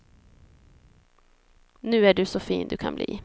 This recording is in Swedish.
Nu är du så fin du kan bli.